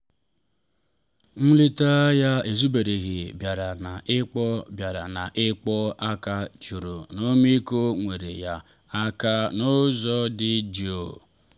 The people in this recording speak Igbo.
nleta ya ezubereghị bịara na ịkpọ bịara na ịkpọ aka juru n’ọmịiko nyeere ya aka n’ụzọ dị jụụ.